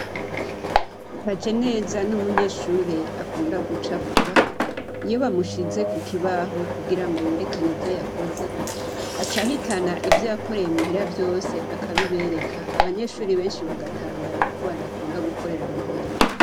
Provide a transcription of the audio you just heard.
Kajeneza ni umunyeshure akunda gucapura. Iyo bamushize kukibaho kugirango yerekane ivyo yakoze, aca ahitana ivyo yakoreye muhira vyose akabibereka, abanyeshuri benshi bagatangara kuko badakunda gukorera muhira.